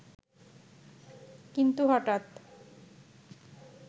কিন্ত হঠাৎ